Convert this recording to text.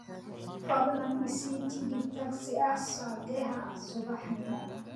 fadlan i sii tigidh tagsi ah saddexda subaxnimo